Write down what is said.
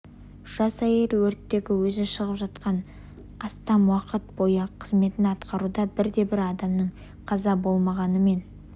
жас әйел өрттерге өзі шығып жылдан астам уақыт бойы қызметін атқаруда бірде-бір адамның қаза болмағаныммен